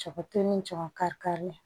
Jaba to ni jaba kari kari